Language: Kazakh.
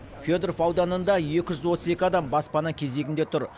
федоров ауданында екі жүз отыз екі адам баспана кезегінде тұр